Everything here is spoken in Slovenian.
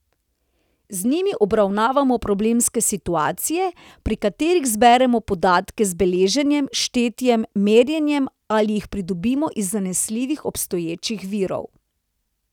Z njimi obravnavamo problemske situacije, pri katerih zberemo podatke z beleženjem, štetjem, merjenjem ali jih pridobimo iz zanesljivih obstoječih virov.